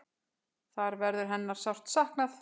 Þar verður hennar sárt saknað.